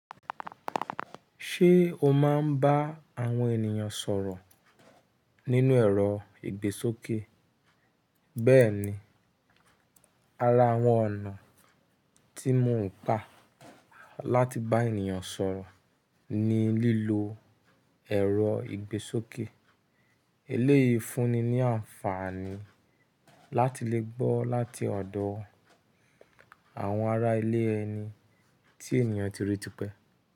Ṣé o máa ń bá àwọn ènìyàn sọ̀rọ̀ nínú ẹ̀rọ ìgbésókè? Bẹ́ẹ̀ni, ara àwọn ọ̀nà tí mò ń gbà láti bá ènìyàn sọ̀rọ̀ ni lílo ẹ̀rọ ìgbésókè. Eléyìí fúnni ní àǹfààní láti lè gbọ́ láti ọ̀dọ̀ àwọn ará ilé ẹni tí ènìyàn tirí tipẹ́